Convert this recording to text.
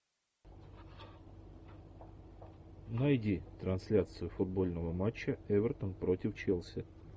найди трансляцию футбольного матча эвертон против челси